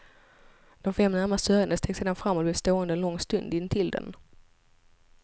De fem närmast sörjande steg sedan fram och blev stående en lång stund intill den.